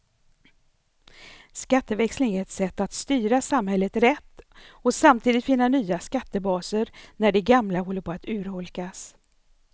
Skatteväxling är ett sätt att styra samhället rätt och samtidigt finna nya skattebaser när de gamla håller på att urholkas.